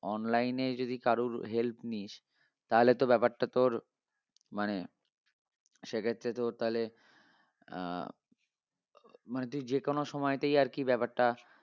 Online এ যদি কারুর help নিস্ তাহলে তো ব্যাপারটা তোর মানে সেক্ষেত্রে তোর তালে আহ মানে তুই যেকোনো সময়তেই আরকি ব্যাপারটা